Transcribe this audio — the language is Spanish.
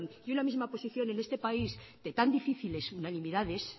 y una misma posición en este país de tan difíciles unanimidades